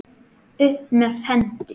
Upp með hendur!